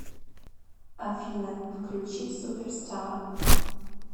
афина включи суперстар